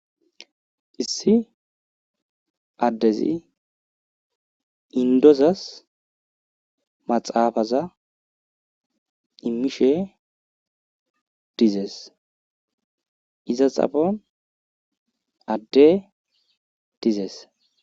Issi addezi indozas maxaafaza imishe dizees. Iza xaphon adde dizees.